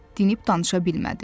Dinib danışa bilmədi.